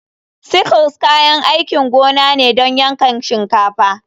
Sickle kayan aikin gona ne don yankan shinkafa.